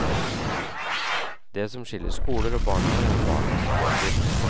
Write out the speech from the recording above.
Det som skiller skoler og barnehaver er barnas alder.